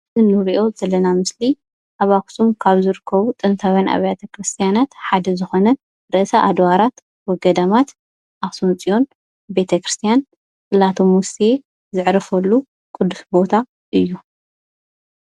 እንሪኦ ዘለና ምስሊ ኣብ ኣኽሱም ካብ ዝርከቡ ጥንታውያን ኣብያተ ቤተ ክርስትያናት ሓደ ዝኾነ ርእሰ ኣድዋራት ወገዳማት ኣኽሱም ፅዮን ቤተ ክርስትያን ፅላተ ሙሴ ዘዕርፍሉ ቅዱስ ቦታ እዩ።